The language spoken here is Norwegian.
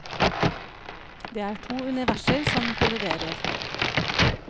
Det er to universer som kolliderer.